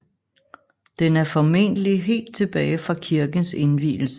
Den er formentlig helt tilbage fra kirkens indvielse